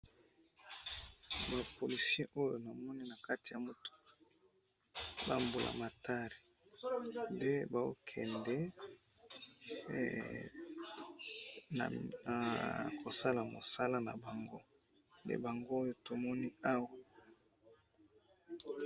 Ba policiers oyo namoni na kati ya mutuka ,ba mbulamatari nde bao kende ,na kosala mosala na bango nde bango oyo tomoni awa